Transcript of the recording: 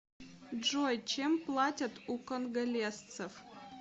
джой чем платят у конголезцев